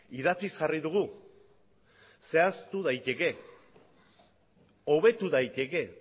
idatziz jarri dugu zehaztu daiteke hobetu daiteke